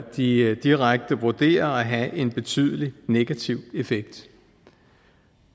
de direkte vurderer vil have en betydelig negativ effekt